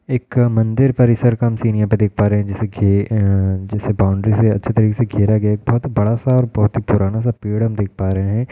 एक मंदिर परिसर का म् सीन यहाँ पे देख पा रहे हैं जैसे कि अं जैसे बाउंड्री से अच्छे तरीके से घेरा गया है। एक बहोत ही बड़ा सा और बहोत ही पुराना सा पेड़ हम देख पा रहे हैं।